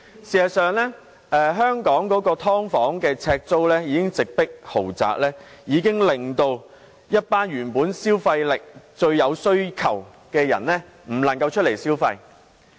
事實上，香港"劏房"的呎租已經直迫豪宅，令一群原本既有消費力又有需求的人無法外出消費。